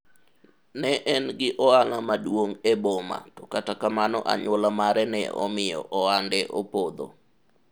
ne en gi ohala maduong' e boma to kata kamano anyuola mare ne omiyo ohande opodho